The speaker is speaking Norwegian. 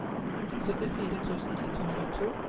syttifire tusen ett hundre og to